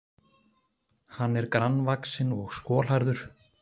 Hann er grannvaxinn og skolhærður